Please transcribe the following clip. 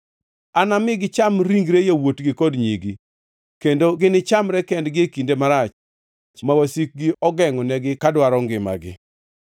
Anami gicham ringre yawuotgi kod nyigi, kendo ginichamre kendgi e kinde marach ma wasikgi ogengʼonigi ka dwaro ngimagi.’